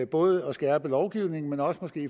både at skærpe lovgivningen og måske